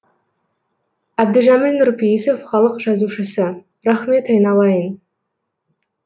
әбдіжәміл нұрпейісов халық жазушысы рахмет айналайын